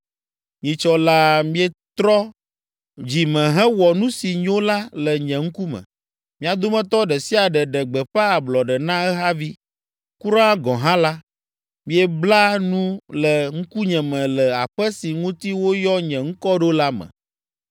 Nyitsɔ laa mietrɔ dzi me hewɔ nu si nyo la le nye ŋkume. Mia dometɔ ɖe sia ɖe ɖe gbeƒã ablɔɖe na ehavi. Kura gɔ̃ hã la, miebla nu le ŋkunye me le Aƒe si ŋuti woyɔ nye ŋkɔ ɖo la me.